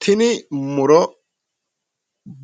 Tini muro